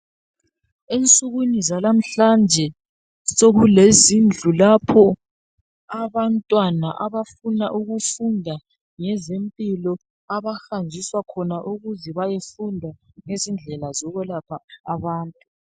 Ensukwini zalamhlanje sekulezindlu lapho abantwana abafuna ukufunda ngezempilo abahanjiswa khona ukuze bayefunda ngezindlela zokwelapha abantu.